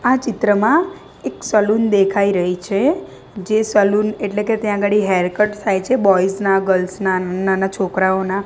આ ચિત્રમાં એક સલૂન દેખાઈ રહી છે જે સલુન એટલે કે ત્યાં અગાડી હેર કટ થાય છે બોયઝ ના ગર્લ્સ ના નાના છોકરાઓના.